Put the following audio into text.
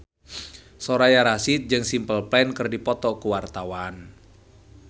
Soraya Rasyid jeung Simple Plan keur dipoto ku wartawan